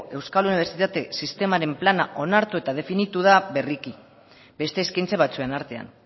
euskal unibertsitate sistemaren plana onartu eta definitu da berriki beste eskaintza batzuen artean